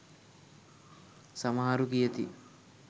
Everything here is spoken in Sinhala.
සමහරු කියති